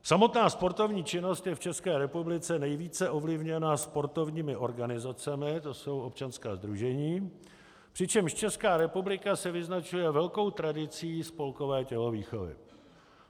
Samotná sportovní činnost je v České republice nejvíce ovlivněna sportovními organizacemi, to jsou občanská sdružení, přičemž Česká republika se vyznačuje velkou tradicí spolkové tělovýchovy.